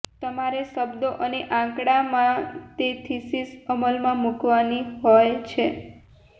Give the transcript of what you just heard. તમારે શબ્દો અને આંકડામાં તે થિસિસ અમલમાં મૂકવાની હોય છે